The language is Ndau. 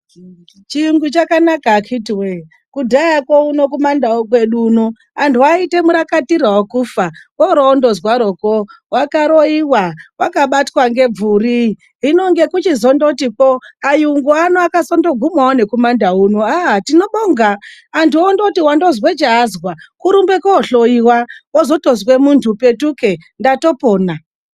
Chiyungu chakanaka akhiti woye,;kudhayakwo uno kumandawu kwedu uno anthu aiite murakatira wokufa. Woorondozwarokwo wakaroiwa, wakabatwa ngebvuri. Hino ngekuchizongotikwo ayungu ano akazongogumawo nekumandawu uno. Haiwa, tinobonga. Anthu kungoti wazwe chaazwa, kurumbe koohloiwa, wozotozwe munthu petuke, ndatopona.